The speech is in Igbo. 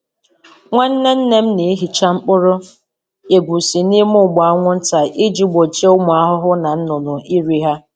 Nwanne nne m na-ehicha mkpụrụ egusi n’ime ụgbụ anwụnta iji gbochie ụmụ ahụhụ na nnụnụ iru ha.